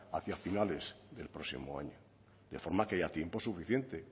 hacia finales del próximo año de forma que haya tiempo suficiente